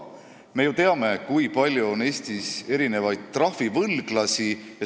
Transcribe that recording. Me ju teame, kui palju on Eestis mitmesuguseid trahvivõlglasi.